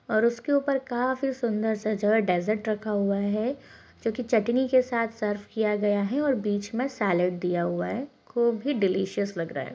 और उसके ऊपर काफी सुंदर सा जो है डेजर्ट रखा हुआ है जो की चटनी के साथ सर्व किया गया है और बीच में सैलेड दिया हुआ है को भी डिलिसिउस लग रहा है।